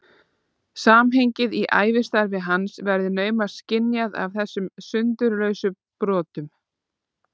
Samhengið í ævistarfi hans verður naumast skynjað af þessum sundurlausu brotum.